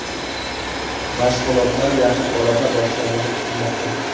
Mashg‘ulotlar yaqin orada boshlanishi kutilmoqda.